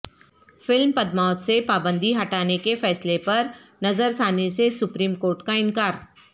film Padmaavat سے پابندی ہٹانے کے فیصلے پر نظر ثانی سے سپریم کورٹ کا انکار